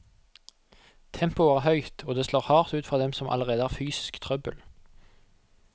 Tempoet er høyt, og det slår hardt ut for dem som allerede har fysisk trøbbel.